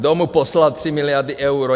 Kdo mu poslal 3 miliardy eur.